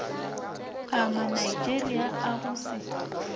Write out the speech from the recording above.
a manigeria a go se